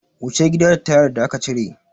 Wuce gida da tayar da aka cire!